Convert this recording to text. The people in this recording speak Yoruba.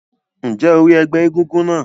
Ǹjẹ́ o rí ẹgbẹ́ egúngún náà?